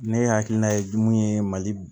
Ne hakilina ye jumɛn ye mali